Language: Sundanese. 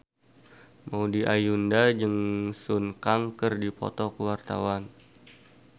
Maudy Ayunda jeung Sun Kang keur dipoto ku wartawan